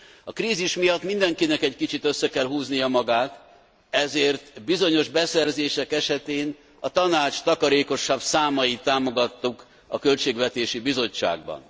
A krízis miatt mindenkinek egy kicsit össze kell húznia magát, ezért bizonyos beszerzések esetén a Tanács takarékosabb számait támogattuk a Költségvetési Bizottságban.